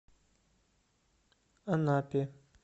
анапе